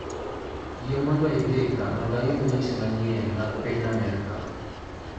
yie mondo indika mondo ayud weche manyien mag piny Amerka